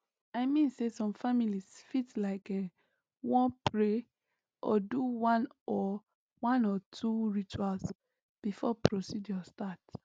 i mean say some families fit like[um]wan pray or do one or one or two rituals before procedure start